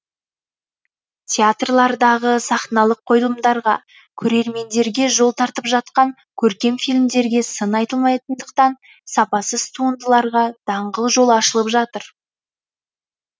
театрлардағы сахналық қойылымдарға көрермендерге жол тартып жатқан көркем фильмдерге сын айтылмайтындықтан сапасыз туындыларға даңғыл жол ашылып жатыр